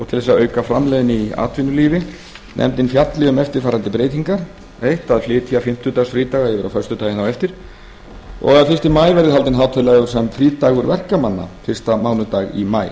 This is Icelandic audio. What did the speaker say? til að auka framleiðni í atvinnulífinu nefndin fjalli um eftirfarandi breytingar a að flytja fimmtudagsfrídaga yfir á föstudaginn eftir b að fyrsta maí verði haldinn hátíðlegur sem frídagur verkamanna fyrsta mánudag í maí